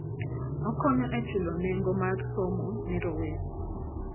Okonyo e chulo nengo mar somo ne rowere.